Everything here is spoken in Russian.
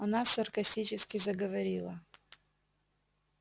она саркастически заговорила